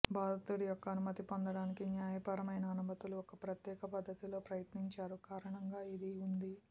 బాధితుడి యొక్క అనుమతి పొందటానికి న్యాయపరమైన అనుమతులు ఒక ప్రత్యేక పద్ధతిలో ప్రయత్నించారు కారణంగా ఈ ఉంది